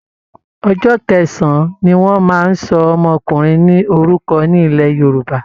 Ọjọ́ kẹsàn-án ni wọ́n máa ń sọ ọmọkùnrin ní orúkọ ní ilẹ̀ Yorùbá